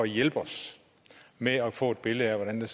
hjælpe os med at få et billede af hvordan